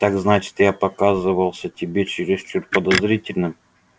так значит я показался тебе чересчур подозрительным